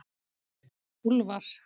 Úlfar